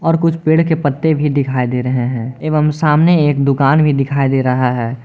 और कुछ पेड़ के पत्ते भी दिखाई दे रहे हैं एवं सामने एक दुकान भी दिखाई दे रहा है।